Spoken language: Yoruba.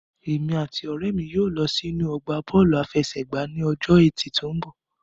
Èmi àti ọ̀rẹ́ mi yóò lọ sínú ọgbà Bọ́ọ̀lù àfẹsẹ̀gbá ní ọjọ́ ẹtì tó mbọ̀